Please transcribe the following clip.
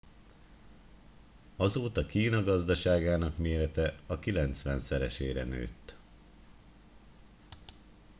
azóta kína gazdaságának mérete a kilencvenszeresére nőtt